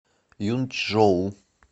юнчжоу